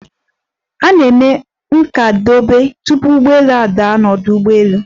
A na-eme nkwadebe, tupu ụgbọelu a daa n'ọdu ụgbọelu.